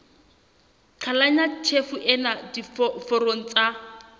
qhalanya tjhefo ena diforong tsa